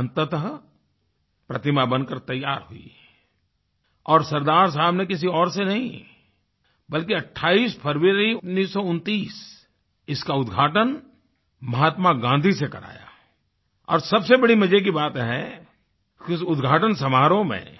अंततः प्रतिमा बन कर तैयार हुई और सरदार साहब ने किसी और से नहीं बल्कि 28 फरवरी 1929 इसका उद्घाटन महात्मा गाँधी से कराया और सब से बड़ी मज़े की बात है उस उद्घाटन समारोह में